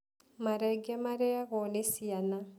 Marenge marĩagũo nĩ ciana.